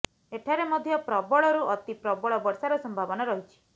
ଏଠାରେ ମଧ୍ୟ ପ୍ରବଳରୁ ଅତି ପ୍ରବଳ ବର୍ଷାର ସମ୍ଭାବନା ରହିଛି